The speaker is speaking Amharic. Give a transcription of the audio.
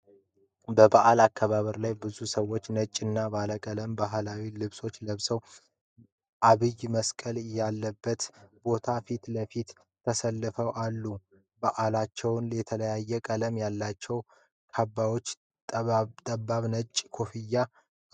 በበዓል አከባበር ላይ ብዙ ሰዎች ነጭና ባለቀለም ባህላዊ ልብሶች ለብሰው፣ ዐብይ መስቀል ያለበትን ቦታ ፊት ለፊት ተሰልፈው አሉ። በአለባበሳቸው የተለያዩ ቀለማት ያላቸው ካባዎችና ጠባብ ነጭ ኮፍያዎች አሏቸው።